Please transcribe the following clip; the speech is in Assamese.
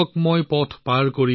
সকলো সমস্যা নেওচিবলৈ